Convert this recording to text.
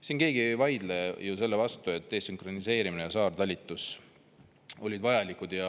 Siin keegi ei vaidle ju selle vastu, et desünkroniseerimine ja saartalitlus olid vajalikud.